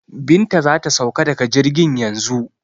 Binta za ta sauka daga jirgin yanzu.